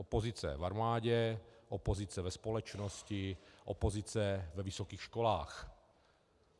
Opozice v armádě, opozice ve společnosti, opozice ve vysokých školách.